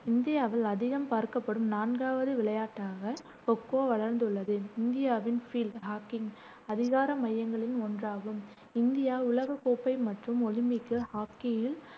இந்தியாவில் அதிகம் பார்க்கப்படும் நான்காவது விளையாட்டாக கொ-கொ வளர்ந்துள்ளது. இந்தியாவின் அதிகார மையங்களுள் ஒன்றாகும் இந்தியா உலகக் கோப்பை மற்றும் ஒலிம்பிக் ஹாக்கியில்